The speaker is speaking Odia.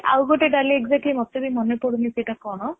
ନାଇଁ ଆଉ ଗୋଟେ ଡାଲି exactly ମୋତେ ବି ମନେ ପଡୁନି ସେଇଟା କଣ